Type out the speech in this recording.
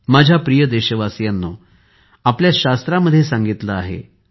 माझ्या प्रिय देशवासियांनो आपल्या शास्त्रामध्ये सांगितले आहे